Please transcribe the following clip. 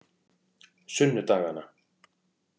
sunnudagana